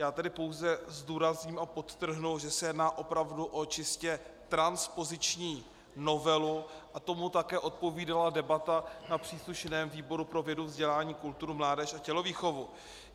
Já tedy pouze zdůrazním a podtrhnu, že se jedná opravdu o čistě transpoziční novelu, a tomu také odpovídala debata na příslušném výboru pro vědu, vzdělání, kulturu, mládež a tělovýchovu.